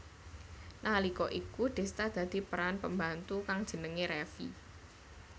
Nalika iku Desta dadi peran pembantu kang jenengé Revi